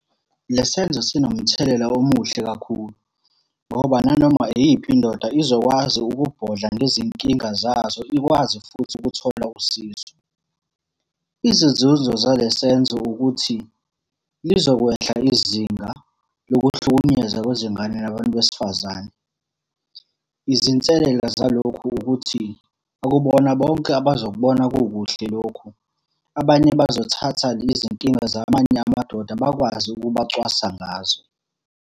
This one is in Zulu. Le senzo sinomthelela omuhle kakhulu, ngoba nanoma iyiphi indoda izokwazi ukubhodla ngezinkinga zazo, ikwazi futhi ukuthola usizo. Izinzuzo zalesenzo ukuthi, lizokwehla izinga lokuhlukunyezwa kwezingane nabantu besifazane. Izinselela zalokhu ukuthi, akubona bonke abazokubona kukuhle lokhu. Abanye bazothatha izinkinga zamanye amadoda bakwazi ukubacwasa ngazo.